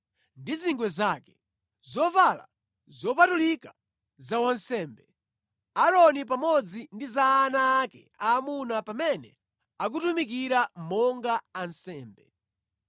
zovala zolukidwa zovala potumikira kumalo opatulika, zovala zopatulika za wansembe, Aaroni pamodzi ndi za ana ake aamuna pamene akutumikira monga ansembe.”